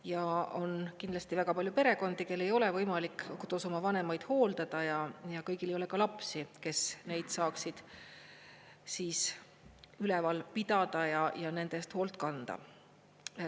Ja on kindlasti väga palju perekondi, kellel ei ole võimalik kodus oma vanemaid hooldada, ja kõigil ei ole ka lapsi, kes neid saaksid üleval pidada ja nende eest hoolt kanda.